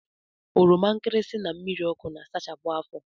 Oromankirisi na mmiriọkụ na-asachapụ afọ